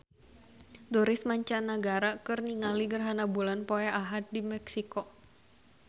Turis mancanagara keur ningali gerhana bulan poe Ahad di Meksiko